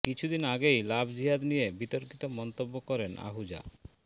কিছুদিন আগেই লাভ জিহাদ নিয়ে বিতর্কিত মন্তব্য করেন আহুজা